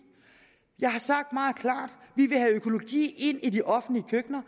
jeg har sagt meget klart at vi vil have økologi ind i de offentlige køkkener